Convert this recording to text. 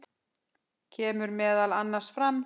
kemur meðal annars fram